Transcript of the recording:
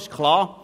Das ist klar.